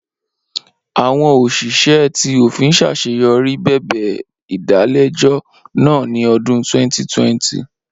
Awọn oṣiṣẹ ti ofin ṣaṣeyọri bẹbẹ idalẹjọ naa ni ọdun 2020.